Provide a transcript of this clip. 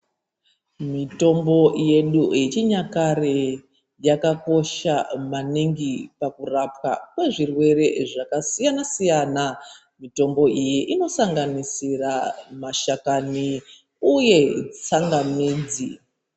Mitombo yedu yechinyakare yakakosha maningi pakurapwa kwezvirwere zvakasiyana siyana. Mitombo iyi inosanganisira mashakani , uye tsangamidzi.